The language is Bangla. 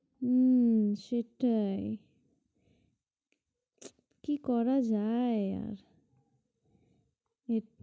উম সেটাই কি করা যায় আর সেট~